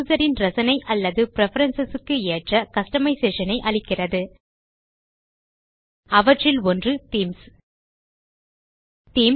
user ன் ரசனை அல்லது பிரெஃபரன்ஸ் க்கு ஏற்ற கஸ்டமைசேஷன் ஐ அளிக்கிறது அவற்றில் ஒன்று தீம்ஸ்